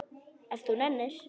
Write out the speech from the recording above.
Ef þú nennir.